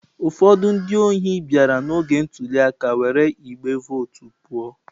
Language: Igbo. Ụfọdụ ndị ohi bịara n'oge ntuli aka were igbe vootu pụọ.